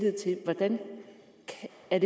at